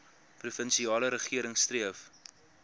provinsiale regering streef